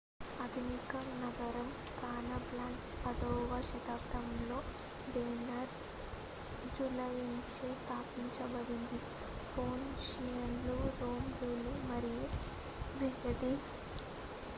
ఆధునిక నగరం కాసాబ్లాంకా 10వ శతాబ్దంలో బెర్బెర్ జాలరులచే స్థాపించబడింది ఫోనీషియన్లు రోమన్లు మరియు మెరెనిడ్స్ అన్ఫా అని పిలువబడే వ్యూహాత్మక నౌకాశ్రయంగా ఉపయోగించారు